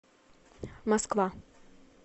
москва